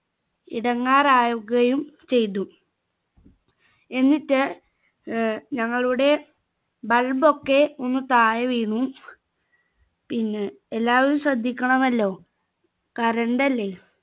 ഇടങ്ങേറാവുകയും ചെയ്തു എന്നിട്ട് ഏർ ഞങ്ങളുടെ bulb ഒക്കെ ഒന്ന് താഴെ വീണു പിന്നെ എല്ലാവരും ശ്രദ്ധിക്കണമല്ലോ current അല്ലെ